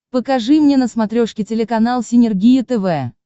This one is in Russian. покажи мне на смотрешке телеканал синергия тв